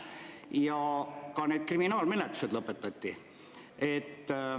Ja ka need kriminaalmenetlused lõpetati.